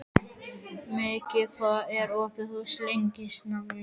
Mekkin, hvað er opið lengi í Listasafninu?